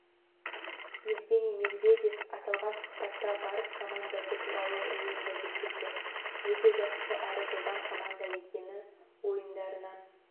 евгений медведев аталған сұхбатта барыс командасы туралы ойын да жеткізді өте жақсы әрі жылдам команда екені ойындарынан